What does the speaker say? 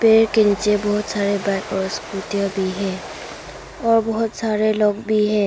पेड़ के नीचे बहोत सारे बाइक और स्कूटीया भी है। और बहुत सारे लोग भी हैं।